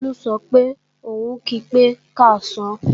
Bólú sọ pé òun kí pé káàsán